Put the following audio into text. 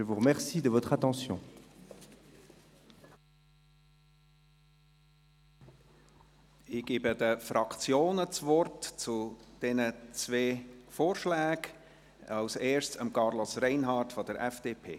Ich gebe zu diesen zwei Vorschlägen den Fraktionen das Wort, zuerst Carlos Reinhard von der FDP.